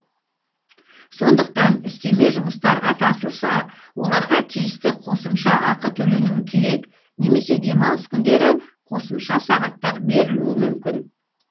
сондықтан үстеме жұмыстарға тартылса оларға тиісті қосымша ақы төленуі керек немесе демалыс күндері қосымша сағаттар берілуі мүмкін